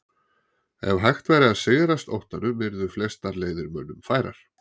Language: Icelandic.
Ef hægt væri að sigrast óttanum yrðu flestar leiðir mönnum færar.